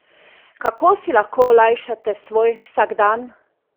Kako si lahko olajšate svoj vsakdan?